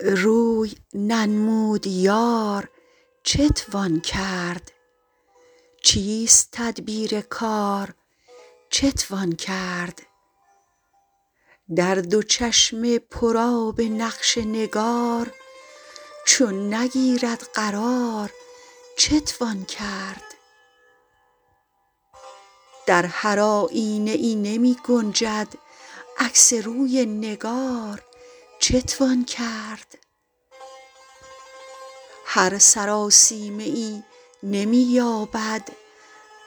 روی ننمود یار چتوان کرد چیست تدبیر کار چتوان کرد در دو چشم پر آب نقش نگار چون نگیرد قرار چتوان کرد در هر آیینه ای نمی گنجد عکس روی نگار چتوان کرد هر سراسیمه ای نمی یابد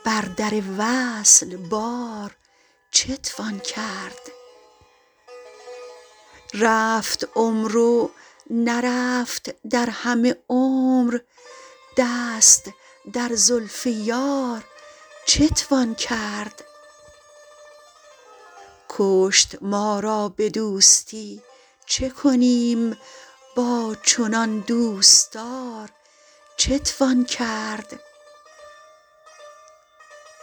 بر در وصل بار چتوان کرد رفت عمرو نرفت در همه عمر دست در زلف یار چتوان کرد کشت ما را به دوستی چه کنیم با چنان دوستدار چتوان کرد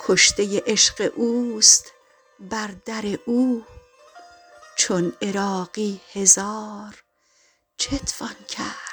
کشته عشق اوست بر در او چون عراقی هزار چتوان کرد